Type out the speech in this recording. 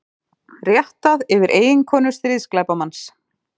Réttað yfir eiginkonu stríðsglæpamanns